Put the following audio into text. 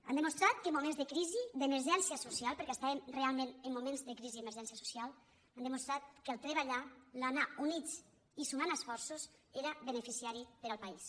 han demostrat que en moments de crisi d’emergència so·cial perquè estàvem realment en moments de crisi i emergència social han demostrat que treballar anar units i sumant esforços era beneficiós per al país